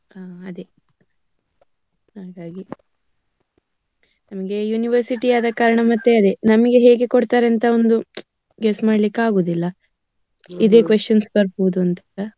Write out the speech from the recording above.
ಹಾ ಅದೇ ಹಾಗಾಗಿ. ನಮ್ಗೆ University ಆದಕಾರಣ ಮತ್ತೆ ಅದೇ ನಮ್ಗೆ ಹೇಗೆ ಕೊಡ್ತಾರೆ ಅಂತ ಒಂದು guess ಮಾಡ್ಲಿಕ್ಕೆ ಆಗುದಿಲ್ಲ, ಇದೇ questions ಬರ್ಬೋದು ಅಂತಾಯೆಲ್ಲ.